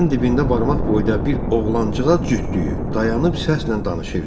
Divarın dibində barmaq boyda bir oğlancığa cütdüyü dayanıb, səslə danışırdı.